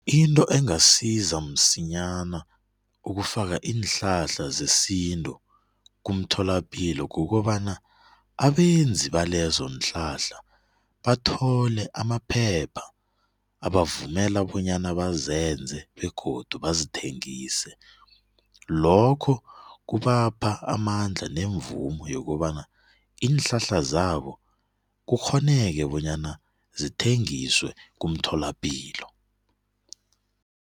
Into engasiza msinyana ukufaka iinhlahla zesintu kumtholapilo kukobana abenzi balezo nhlahla bathole amaphepha abavumela bonyana bazenze begodu bazithengise lokho kubapha amandla nemvumo yokobana iinhlahla zabo kukghoneke bonyana zithengiswe kumtholapilo.